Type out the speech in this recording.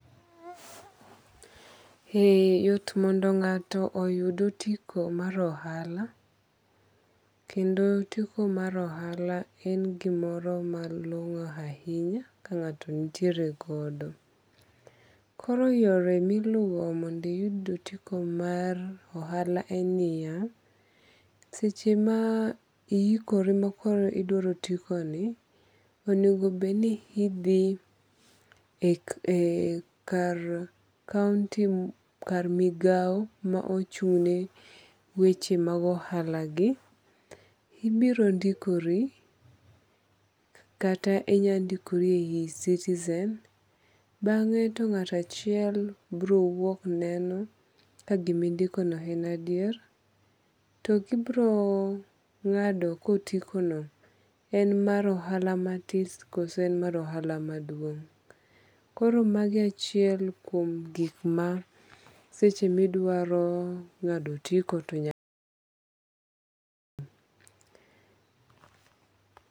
E yot mondo ng'ato oyud otiko mar ohala. Kendo otiko mar ohala en gimoro malong'o ahinya ka ng'ato nitiere godo. Kor yore miluwo mond iyud otiko mar ohala en niya. Seche ma ihikori makoro idwaro otiko ni onego bed ni idhi e kar kaonti kar migawo ma ochung'ne weche mag ohala gi. Ibiro ndikori kata inya ndikori e yi e-citizen. Bang'e to ng'ato achiel biro wuok neno ka gima indiko no en adier. To kibiro ng'ado ka otiko no en mar ohala matis koso en mar ohala maduong'. Koro magi achiel kuong gik ma seche miduaro ng'ado otiko to nyaka itim.